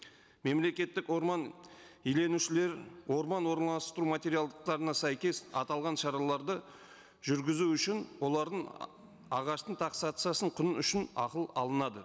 мемлекеттік орман иеленушілер орман орналастыру материалдықтарына сәйкес аталған шараларды жүргізу үшін олардың ағаштың құнын үшін ақы алынады